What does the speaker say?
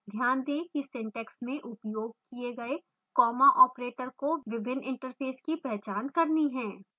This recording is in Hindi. ध्यान दें कि syntax में उपयोग किए गए comma operator को विभिन्न interfaces की पहचान करनी है